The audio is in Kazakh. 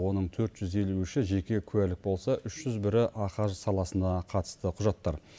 оның төрт жүз елу үші жеке куәлік болса үш жүз бірі ахаж саласына қатысты құжаттар